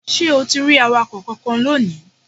Ṣé o ti rí awakọ̀ kankan lónìí?